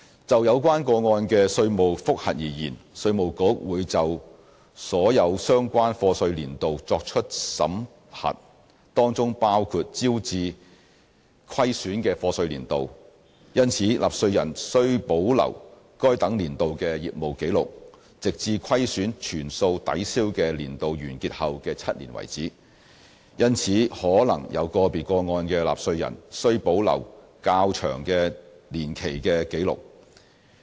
就有關個案的稅務覆核而言，稅務局會就所有相關課稅年度作出審核，當中包括招致虧損的課稅年度，因此納稅人須保留該等年度的業務紀錄，直至虧損全數抵銷的年度完結後的7年為止，因而可能有個別個案的納稅人需保留較長年期的紀錄。